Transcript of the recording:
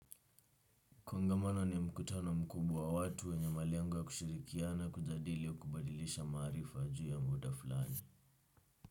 Kuangamana ni mkutano mkubwa wa watu wenye malengo wa kushirikia na kujadili au kubadilisha maarifa juu ya muda fulani.